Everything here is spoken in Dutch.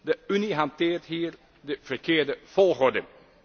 De Unie hanteert hier de verkeerde volgorde.